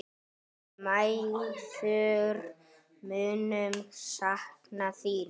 Við mæðgur munum sakna þín.